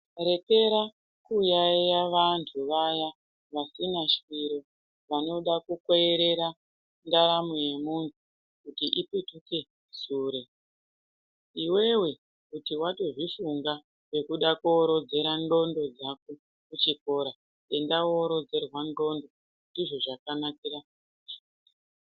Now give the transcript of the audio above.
Rekera kuyaiya vantu vaya vasina swiro vanoda kukwerera ndaramo yemuntu kuti ipetuke sure. Iveve kuti vatozvifunga zvekuda korodzera ndxondo dzako kuchikora enda vorodzerwa ndxondo ndizvo zvakanakira.